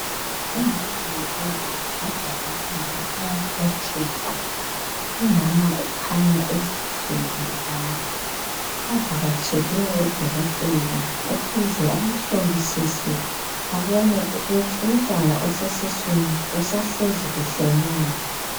Umama lobaba bajabulile bayabobotheka umama ukhanya ezithwele lapha bavakatshele udokotela ukuze ahlolisise abone ukuthi umntwana esiswini usahlezi kuhle na